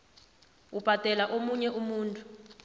ubhadelela omunye umuntu